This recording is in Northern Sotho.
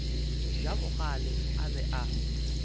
ja bogale a be a